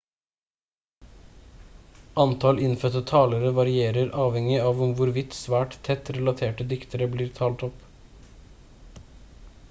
antall innfødte talere varierer avhengig av om hvorvidt svært tett relaterte dialekter blir talt opp